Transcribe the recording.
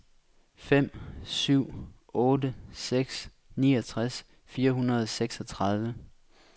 fem syv otte seks niogtres fire hundrede og seksogtredive